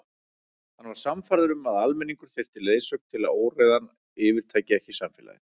Hann var sannfærður um að almenningur þyrfti leiðsögn til að óreiðan yfirtæki ekki samfélagið.